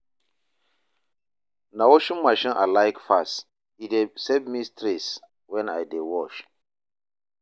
Na washing machine I like pass, e dey save me stress when I dey wash.